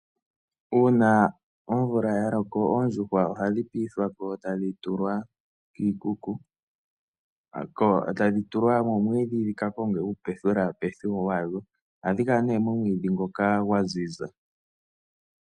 Uuna omvula yaloko oondjuhwa ohadhi piithwako tadhi tulwa moomwiidhi dhika konge upethulapethu wawo. Ohadhi kala nee momwiidhi ngoka gwaziza.